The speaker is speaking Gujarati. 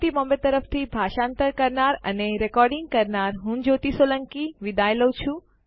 iit બોમ્બે તરફથી ભાષાંતર કરનાર હું ભરત સોલંકી વિદાય લઉં છું